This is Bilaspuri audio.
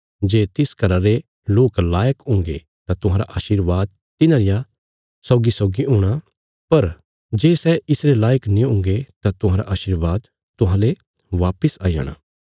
जे तिस घरा रे लोक लायक हुंगे तां तुहांरा आशीर्वाद तिन्हां रिया सौगीसौगी हूणा पर जे सै इसरे लायक नीं हुंगे तां तुहांरा आशीर्वाद तुहांले बापस आई जाणा